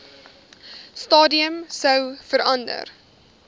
stadium sou verander